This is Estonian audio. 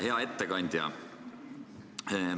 Hea ettekandja!